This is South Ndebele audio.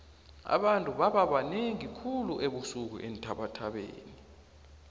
abantu bababanengi khulu ebusuku eenthabathabeni